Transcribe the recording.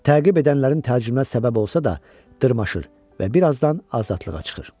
Təqib edənlərin təəccübünə səbəb olsa da dırmaşır və bir azdan azadlığa çıxır.